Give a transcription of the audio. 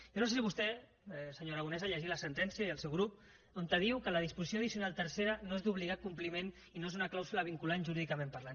jo no sé si vostè senyor aragonès ha llegit la sentència i el seu grup on diu que la disposició addicional tercera no és d’obligat compliment i no és una clàusula vinculant jurídicament parlant